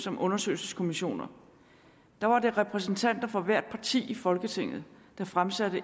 om undersøgelseskommissioner der var det repræsentanter fra hvert parti i folketinget der fremsatte